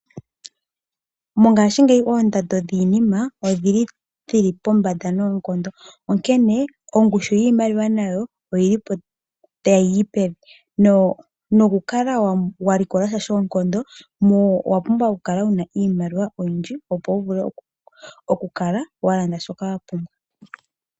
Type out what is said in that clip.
Mongaashingeyi oondando dhiinima odhili pombanda noonkondo. Onkene ongushu yiimaliwa nayo oyilipo tayi yi pevi. Owapumbwa oku kala wuna iimaliwa oyindji opo wuvule oku kala walanda shoka wa pumbwa.